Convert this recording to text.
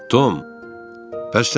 Tom.